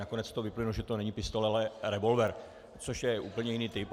Nakonec z toho vyplynulo, že to není pistole, ale revolver, což je úplně jiný typ.